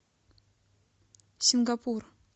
сингапур